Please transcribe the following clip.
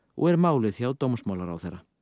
og er málið hjá dómsmálaráðherra